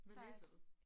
Hvad læser du?